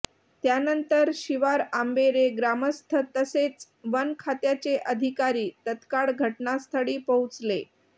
त्यानंतर शिवारआंबेरे ग्रामस्थ तसेच वनखात्याचे अधिकारी तत्काळ घटनास्थळी पोहोचले